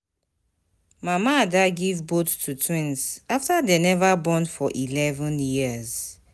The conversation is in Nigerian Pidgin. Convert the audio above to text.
Mama Ada give both to twins after dey never born for eleven years.